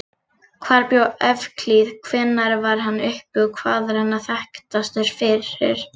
Hvar bjó Evklíð, hvenær var hann uppi og hvað er hann þekktastur fyrir?